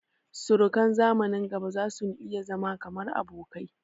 Surukan zamanin gaba zasun iya zama kamar abokai